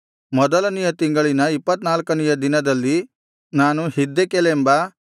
ಮೊದಲನೆಯ ತಿಂಗಳಿನ ಇಪ್ಪತ್ತನಾಲ್ಕನೆಯ ದಿನದಲ್ಲಿ ನಾನು ಹಿದ್ದೆಕೆಲೆಂಬ